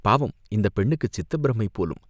பாவம் இந்தப் பெண்ணுக்குச் சித்தப் பிரமை போலும்